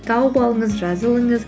тауып алыңыз жазылыңыз